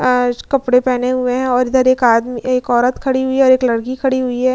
आज कपड़े पेहेने हुए हैं और एक आदमी एक औरत खड़ी हुई है और एक लड़की खड़ी हुई है।